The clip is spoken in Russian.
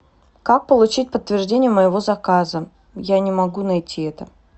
как получить подтверждение моего заказа я не могу найти это